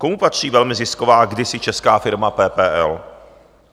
Komu patří velmi zisková, kdysi česká, firma PPL?